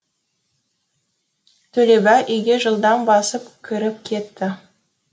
төлебай үйге жылдам басып кіріп кетті